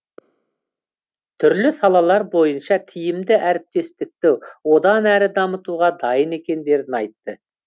түрлі салалар бойынша тиімді әріптестікті одан әрі дамытуға дайын екендерін айтты